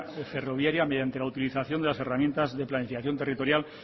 ferroviaria mediante la utilización de las herramientas de planificación territorial